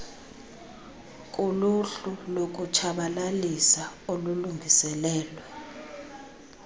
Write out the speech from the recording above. kuluhlu lokutshabalalisa olulungiselelwe